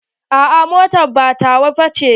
A'a mota ba tawa ba ce.